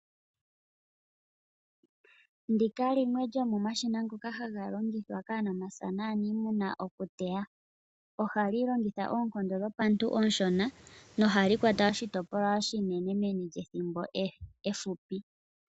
Ndika limwe lyomomashina ngoka haga longithwa kaanamapya naaniimuna okuteya. Ohali longitha oonkondo dhopantu oonshona, nohali kwata oshitopolwa oshinene meni lyethimbo efupi.